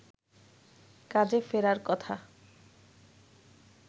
কাজে ফেরার কথা